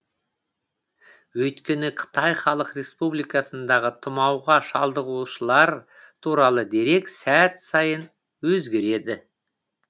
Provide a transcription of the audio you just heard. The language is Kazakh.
өйткені қытай халық республикасындағы тұмауға шалдығушылар туралы дерек сәт сайын өзгереді